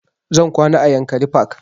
Zan kwana a yankari park